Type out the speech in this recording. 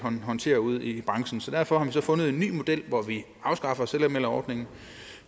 håndtere ude i branchen så derfor har man så fundet en ny model hvor vi afskaffer selvanmelderordningen